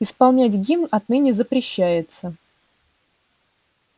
исполнять гимн отныне запрещается